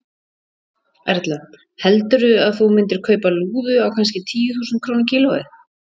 Erla: Heldurðu að þú myndir kaupa lúðu á kannski tíu þúsund krónur kílóið?